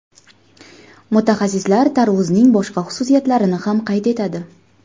Mutaxassislar tarvuzning boshqa xususiyatlarini ham qayd etadi.